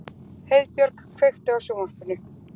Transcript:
Heiðbjörg, kveiktu á sjónvarpinu.